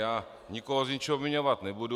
Já nikoho z ničeho obviňovat nebudu.